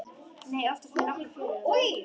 Nei, oftast með nokkrum félögum mínum.